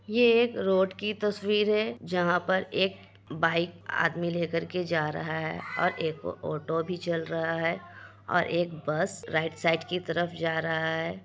ये एक रोड की तस्वीर है जहाँ पर एक बाइक आदमी लेकर के जा रहा है| और एक ऑटो भी चल रहा है और एक बस राइट साइड की तरफ जा रहा है।